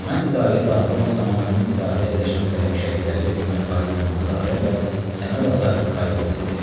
Mən idarəyə daxil olan zaman onun idarədə əyləşən qələm şərikləri Ömər Faiq Nemanzadə və Səməd Ağa Qayıbov idi.